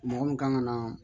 Mɔgɔ min kan ka na